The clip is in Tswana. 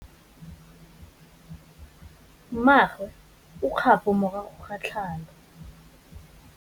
Mmagwe o kgapô morago ga tlhalô.